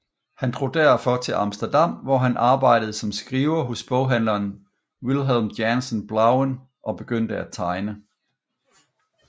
Han drog derfor til Amsterdam hvor han arbejdede som skriver hos boghandleren Wilhelm Janson Blauen og begyndte at tegne